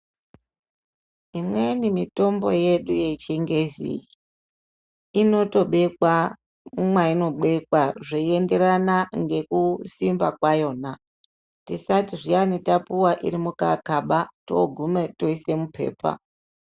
Imweni mitombo yedu yechingezi, inotobekwa mwayinobekwa ,zveyienderana nekusimba kwayona ,tisati zviyani tapuwa iri mukakaba togume toise mupepa.